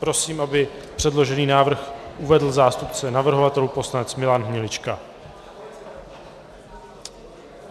Prosím, aby předložený návrh uvedl zástupce navrhovatelů poslanec Milan Hnilička.